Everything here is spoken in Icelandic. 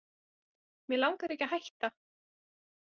Mig langar ekki að hætta.